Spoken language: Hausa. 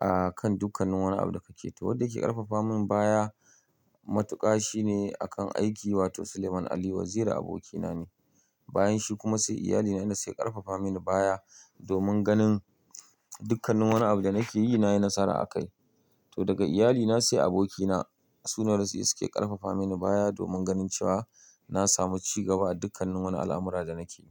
a kan dukkan wani abu da kake yi. To wanda yake ƙarfafa min baya matuƙa shine a kan aiki wato Suleiman Aliyu Waziri abokina ne. Bayan shi kuma sai iyalina ne sai ƙarfafa mini baya domin ganin dukkan wani abu da nake yi nayi nasara a kai. To daga iyalina sai abokina sunan su ne suke ƙarfafa mini baya domin ganin cewa na samu ci gaba a dukkan wani al'amura da nake yi.